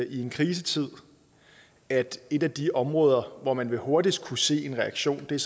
i en krisetid at et af de områder hvor man hurtigst vil kunne se en reaktion er